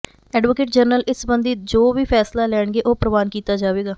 advocate general ਇਸ ਸਬੰਧੀ ਜੋ ਵੀ ਫੈਸਲਾ ਲੈਣਗੇ ਉਹ ਪ੍ਰਵਾਨ ਕੀਤਾ ਜਾਵੇਗਾ